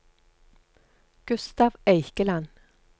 Gustav Eikeland